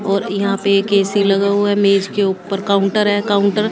और यहां पे एक ऐ_सी लगा हुआ है मेज के ऊपर काउंटर है काउंटर --